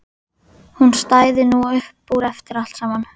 Hún stæði nú upp úr eftir allt saman.